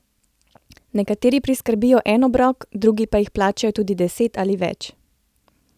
Nekateri priskrbijo en obrok, drugi pa jih plačajo tudi deset ali več!